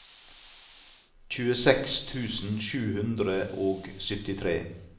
tjueseks tusen sju hundre og syttitre